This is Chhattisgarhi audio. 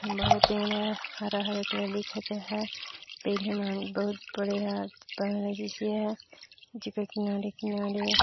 एक ठन बड़े पेड़ ह हरा-हरे कलर ह दिखत है पेड़ ह बहुत बढ़िया बनला जैसी ह जेकर किनारे-किनारे--